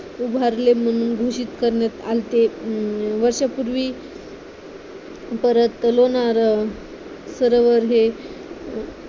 उभारले म्हणून घोषित करण्यात आलेते वर्षांपूर्वी परत लोणार सरोवर हे